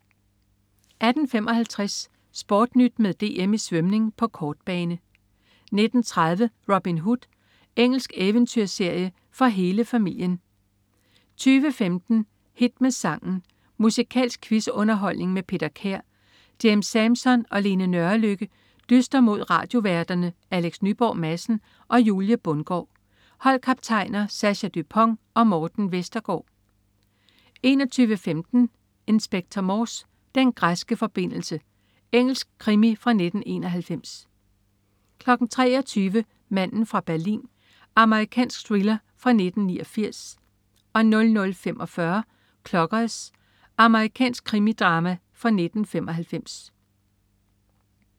18.55 SportNyt med DM i svømning på kortbane 19.30 Robin Hood. Engelsk eventyrserie for hele familien 20.15 Hit med sangen. Musikalsk quiz-underholdning med Peter Kær. James Sampson og Lene Nørrelykke dyster mod radioværterne Alex Nyborg Madsen og Julie Bundgaard. Holdkaptajner: Sascha Dupont og Morten Vestergaard 21.15 Inspector Morse: Den græske forbindelse. Engelsk krimi fra 1991 23.00 Manden fra Berlin. Amerikansk thriller fra 1989 00.45 Clockers. Amerikansk krimidrama fra 1995